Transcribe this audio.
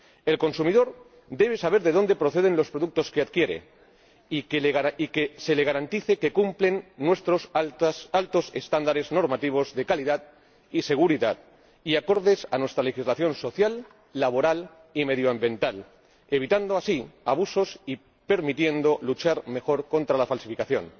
El consumidor debe saber de dónde proceden los productos que adquiere, y se le debe garantizar que cumplen nuestros altos estándares normativos de calidad y seguridad y que son acordes a nuestra legislación social, laboral y medioambiental, evitando así abusos y permitiendo luchar mejor contra la falsificación.